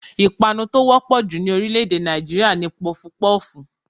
Ìpanu tí ó wọ́pọ̀ jù ní orílẹ̀ èdè Nàìjíríà ni Pọfupọ́ọ̀fù